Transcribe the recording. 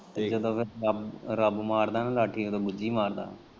ਰੱਬ ਮਾਰਦਾ ਨਾ ਲਾਠੀ ਉਦੋਂ ਬੁੱਜੀ ਮਾਰਦਾ।